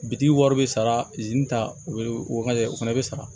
Bitigi wari bɛ sara ta u bɛ o fana bɛ sara